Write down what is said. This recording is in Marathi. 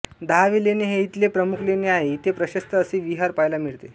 दहावे लेणे हे इथले प्रमुख लेणे आहे इथे प्रशस्त असे विहार पाहायला मिळते